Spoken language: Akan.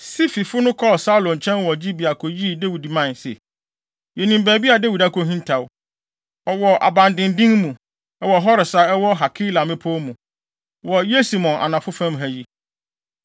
Sififo no kɔɔ Saulo nkyɛn wɔ Gibea koyii Dawid mae se, “Yenim baabi a Dawid akohintaw. Ɔwɔ abandennen mu, wɔ Hores a ɛwɔ Hakila mmepɔw mu, wɔ Yesimon anafo fam ha yi.